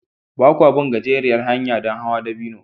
Ba kwa bin gajeriyar hanya don hawan dabino